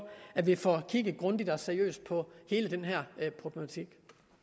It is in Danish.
at vi får kigget grundigt og seriøst på hele den her problematik